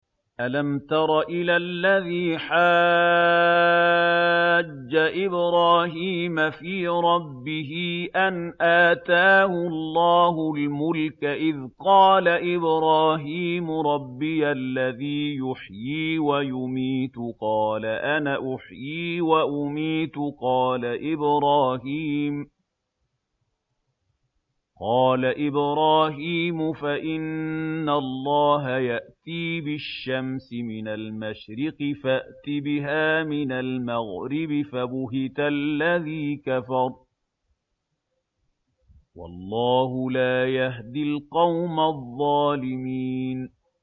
أَلَمْ تَرَ إِلَى الَّذِي حَاجَّ إِبْرَاهِيمَ فِي رَبِّهِ أَنْ آتَاهُ اللَّهُ الْمُلْكَ إِذْ قَالَ إِبْرَاهِيمُ رَبِّيَ الَّذِي يُحْيِي وَيُمِيتُ قَالَ أَنَا أُحْيِي وَأُمِيتُ ۖ قَالَ إِبْرَاهِيمُ فَإِنَّ اللَّهَ يَأْتِي بِالشَّمْسِ مِنَ الْمَشْرِقِ فَأْتِ بِهَا مِنَ الْمَغْرِبِ فَبُهِتَ الَّذِي كَفَرَ ۗ وَاللَّهُ لَا يَهْدِي الْقَوْمَ الظَّالِمِينَ